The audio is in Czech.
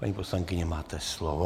Paní poslankyně, máte slovo.